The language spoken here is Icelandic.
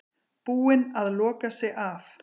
Búin að loka sig af